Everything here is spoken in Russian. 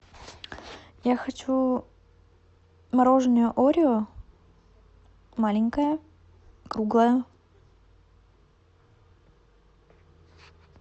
я хочу мороженое орео маленькое круглое